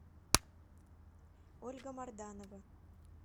ольга марданова